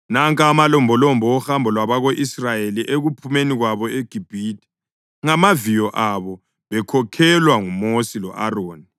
Nanka amalombolombo ohambo lwabako-Israyeli ekuphumeni kwabo eGibhithe ngamaviyo abo bekhokhelwa nguMosi lo-Aroni.